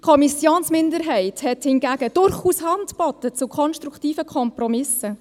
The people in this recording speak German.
Die Kommissionsminderheit hat durchaus Hand geboten zu konstruktiven Kompromissen.